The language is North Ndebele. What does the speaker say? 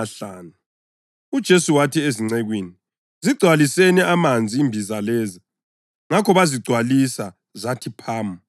UJesu wathi ezincekwini, “Zigcwaliseni amanzi imbiza lezi”; ngakho bazigcwalisa zathi phamu.